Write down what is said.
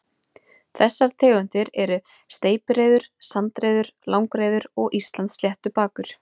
Þessar tegundir eru steypireyður, sandreyður, langreyður og Íslandssléttbakur.